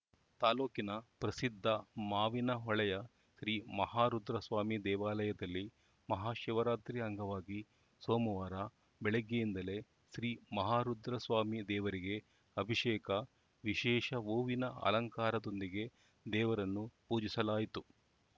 ತಾಲೂಕಿನ ಪ್ರಸಿದ್ಧ ಮಾವಿನ ಹೊಳೆಯ ಶ್ರೀ ಮಹಾರುದ್ರ ಸ್ವಾಮಿ ದೇವಾಲಯದಲ್ಲಿ ಮಹಾ ಶಿವರಾತ್ರಿ ಅಂಗವಾಗಿ ಸೋಮವಾರ ಬೆಳಗ್ಗೆಯಿಂದಲೇ ಶ್ರೀ ಮಹಾರುದ್ರ ಸ್ವಾಮಿ ದೇವರಿಗೆ ಅಭಿಷೇಕ ವಿಶೇಷ ಹೂವಿನ ಅಲಂಕಾರದೊಂದಿಗೆ ದೇವರನ್ನು ಪೂಜಿಸಲಾಯಿತು